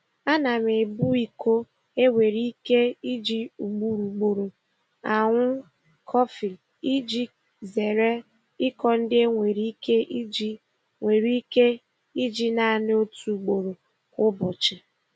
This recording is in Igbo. Ana m ebu iko e nwere ike iji ugboro ugboro aṅụ kọfị iji zeere iko ndị e nwere ike iji nwere ike iji naanị otu ugboro kwa ụbọchị.